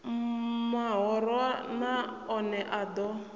mahoro na one a ḓo